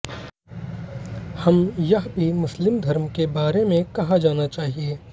हम यह भी मुस्लिम धर्म के बारे में कहा जाना चाहिए